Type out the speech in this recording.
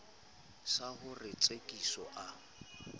sa ho re tsekiso a